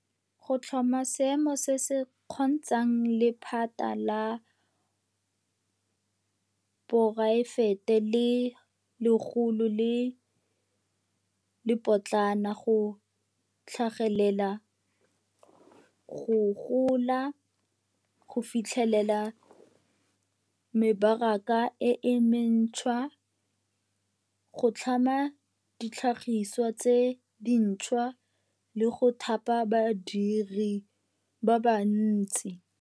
o tlhama seemo se se kgontshang lephata la poraefete le legolo le le lepotlana go tlhagelela, go gola, go fitlhelela mebaraka e mentšhwa, go tlhama ditlhagiswa tse dintšhwa, le go thapa badiri ba bantsi.